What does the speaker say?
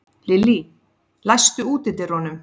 Lillý, læstu útidyrunum.